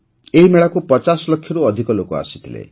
ଏହି ମେଳାକୁ ୫୦ ଲକ୍ଷରୁ ଅଧିକ ଲୋକ ଆସିଥିଲେ